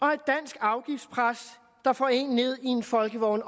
har et dansk afgiftspres der får en ned i en folkevogn